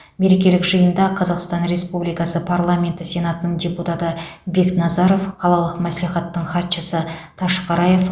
мерекелік жиында қазақстан рсепубликасы парламенті сенатының депутаты бекназаров қалалық мәслихаттың хатшысы ташқараев